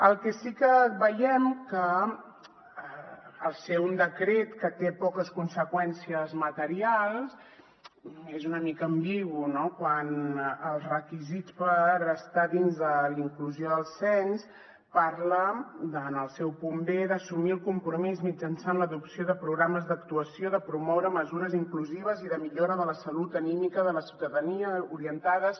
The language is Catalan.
el que sí que veiem que al ser un decret que té poques conseqüències materials és una mica ambigu no quant els requisits per estar dins de la inclusió del cens parla en el seu punt b d’assumir el compromís mitjançant l’adopció de programes d’actuació de promoure mesures inclusives i de millora de la salut anímica de la ciutadania orientades